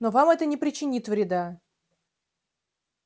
но вам это не причинит вреда